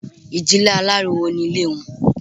Ìdílé aláriwo ní Ilé wọn